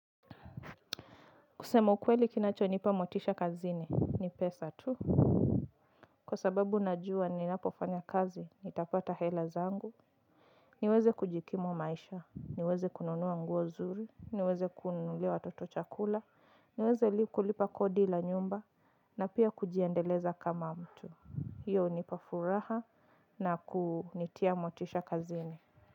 Kusema ukweli kinachonipa motisha kazini, ni pesa tu. Kwa sababu najua ninapofanya kazi, nitapata hela zangu. Niweze kujikimu maisha, niweze kununua nguo nzuri, niweze kununulia watoto chakula, niweze kulipa kodi la nyumba na pia kujiendeleza kama mtu. Hiyo hunipa furaha na kunitia motisha kazini.